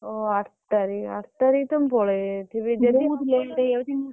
ଓହୋ! ଆଠ ତାରିଖ ଆଠ ତାରିଖ ତ ମୁଁ ପଳେଇ ଯାଇଥିବି।